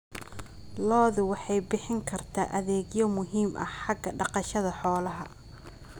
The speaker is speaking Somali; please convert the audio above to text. Lo'du waxay bixin kartaa adeegyo muhiim ah xagga dhaqashada xoolaha.